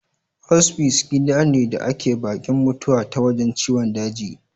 Ospice gida ne da ke baki'n mutawa ta wajen ciwon daji.